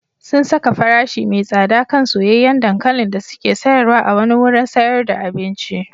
Sun saka farashi mai tsada kan soyayyen dankalin da suke sayarwa a wani wurin sayar da abinci.